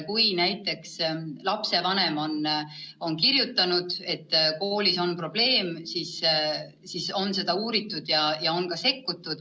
Kui näiteks lapsevanem on kirjutanud, et koolis on probleem, siis on seda uuritud ja on ka sekkutud.